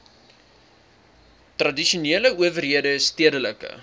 tradisionele owerhede stedelike